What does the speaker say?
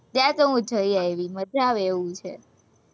ત્યાં તો હું જઈ આવી મજા આવે એવું છે,